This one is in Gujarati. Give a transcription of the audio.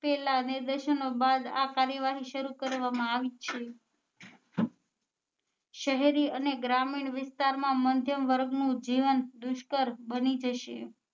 લીધેલા નીર્દશનો બાદ આ કાર્યવાહી શરુ કરવા માં આવી છે શહેરી અને ગ્રામીણ વિસ્તાર માં મધ્યમ વર્ગ નું જીવન દુષ્કર બની જશે